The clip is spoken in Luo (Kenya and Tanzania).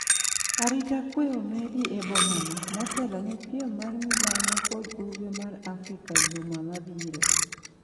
arita kwe omedi e bomano motelo ne piem mar milambo kod Ugwe mar Afrika juma mabiro